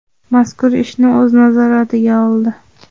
mazkur ishni o‘z nazoratiga oldi.